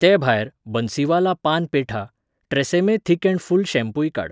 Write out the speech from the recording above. तेभायर, बन्सीवाला पान पेठा, ट्रॅसेमे थिक अँड फुल्ल शॅम्पूय काड.